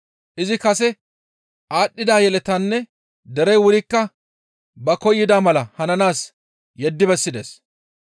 Izi kase aadhdhida yeletaynne derey wurikka ba koyida mala hananaas yeddi bessides.